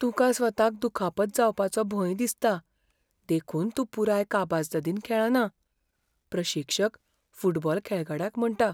तुकां स्वताक दुखापत जावपाचो भंय दिसता, देखून तूं पुराय कापाजदादीन खेळना. प्रशिक्षक फुटबॉल खेळगड्याक म्हणटा